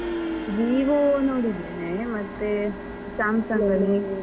Vivo ನೋಡಿದ್ದೇನೆ, ಮತ್ತೆ Samsung ಅಲ್ಲಿ.